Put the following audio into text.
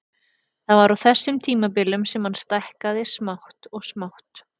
Það var á þessum tímabilum sem hann stækkaði smátt og smátt.